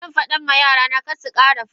Zanfada ma yarana karsukara fada.